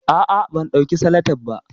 Ah ah ban dauki salatep ba